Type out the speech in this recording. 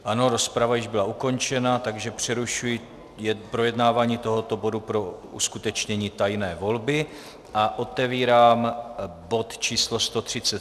Ano, rozprava již byla ukončena, takže přerušuji projednávání tohoto bodu pro uskutečnění tajné volby a otevírám bod číslo